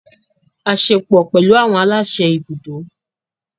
A ṣepọ pẹlu awọn alaṣẹ ibùdó.